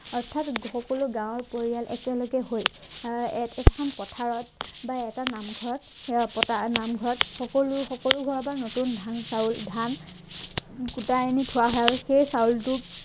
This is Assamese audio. অৰ্থাৎ সকলো গাঁৱৰ পৰিয়াল একেলগে হৈ আহ এ এখন পথাৰত বা এটা নামঘৰত শৰাই পতা নামঘৰত সকলো সকলো ঘৰৰ পৰা নতুন ধান চাউল ধান গোটাই আনি থোৱা হয় সেই চাউলটো